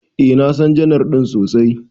Eh, na San janar din sosai.